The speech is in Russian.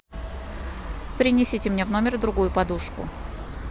принесите мне в номер другую подушку